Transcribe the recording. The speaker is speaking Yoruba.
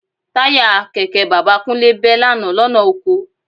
Táyà kẹ̀kẹ́ bàbá Kúnlé bẹ́ lánàá lọ́nà oko